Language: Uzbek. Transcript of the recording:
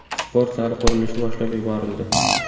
Sport zali qurilishi boshlab yuborildi.